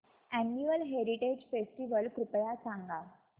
annual heritage festival कृपया सांगा